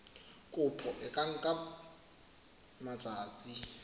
kopo e ka nka matsatsi